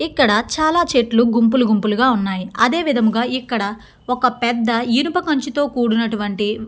ఇక్కడ చాలా చెట్లు గుంపులు గుంపులుగా ఉన్నాయి. అదేవిధంగా ఇక్కడ ఒక పెద్ద ఇనపా కంచుతో కూడినటువంటి --